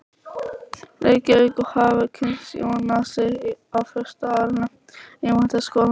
Reykjavík og hafa kynnst Jónasi á fyrsta árinu í Menntaskólanum.